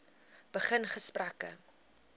begin gesprekke